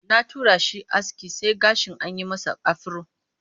Na tura shi aske sai gashi an yi masa afiro